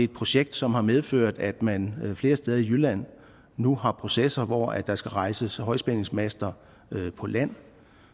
projekt som har medført at man flere steder i jylland nu har processer hvor der skal rejses højspændingsmaster på land